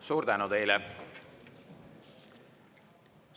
Suur tänu teile!